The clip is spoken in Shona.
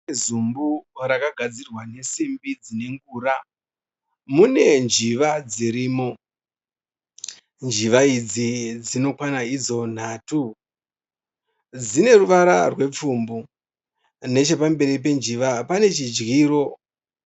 Zumbu rakagadzirwa nesimbi dzine ngura mune njiva dzirimo. Njiva idzi dzinokwana idzo nhatu. Dzine ruvara rwepfumbu. Nechepamberi penjiva pane chidyiro.